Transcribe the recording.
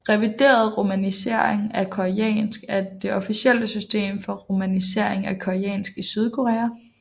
Revideret romanisering af koreansk er det officielle system for romanisering af koreansk i Sydkorea